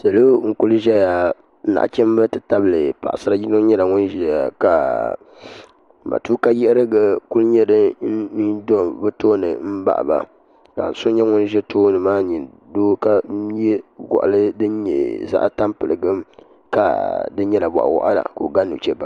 sala n-kuli ʒɛya naɣichimba nti tabili paɣisar' yino nyɛla ŋun ʒɛya ka matuukanyiɣiri kuli nyɛ din do bɛ tooni m-baɣi ba ka so nyɛ ŋun ʒe tooni maa n-nyɛ doo ka ye gɔɣili din nyɛ zaɣ' tampiligim ka di nyɛla bɔɣiwaɣila ka o ga nuchebaŋa